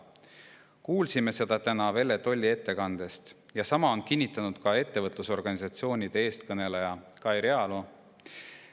Kuulsime seda täna Velle Tolli ettekandest, sama on kinnitanud ettevõtlusorganisatsioonide eestkõneleja Kai Realo.